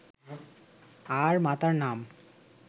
আর মাতার নাম